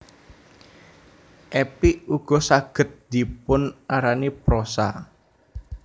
Epik ugo saged dipun arani prosa